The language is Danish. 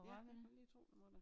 Ja det kan du lige tro du må da